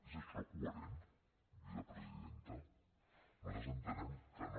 és això coherent vicepresidenta nosaltres entenem que no